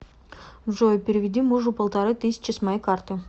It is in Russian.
джой переведи мужу полторы тысячи с моей карты